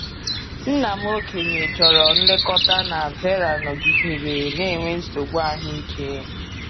Nna m okenye chọrọ nlekọta na Veera nọgidere na-enwe nsogbu ahụike.